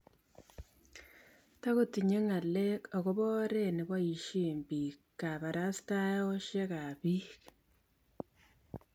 Tagotinye ngalek akobo oret nebaishe bik kabarastaoshek ap bik